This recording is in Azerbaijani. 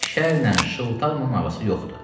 Şərlə şıltaqla arası yoxdur.